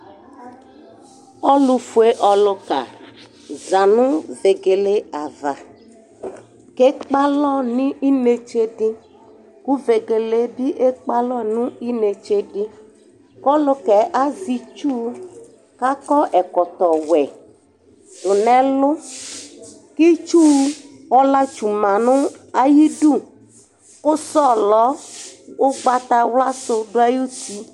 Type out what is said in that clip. ɔlofue ɔloka za no vegele ava k'ekpe alɔ no inetse di ko vegele bi ekpe alɔ n'inetse di ko ɔlokaɛ azɛ itsu k'akɔ ɛkɔtɔ wɛ do n'ɛlu k'itsu ɔla tsu ma no ayidu ko sɔlɔ ugbatawla so do ayiti